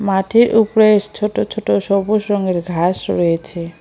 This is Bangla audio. মাঠের উপরে ছোট ছোট সবুজ রঙের ঘাস রয়েছে।